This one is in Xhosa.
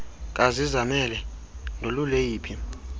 kazizamele ndolule yiphi